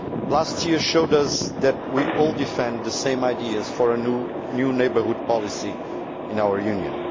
Last year showed us that we all support the same ideas for a new neighbourhood policy in our Union.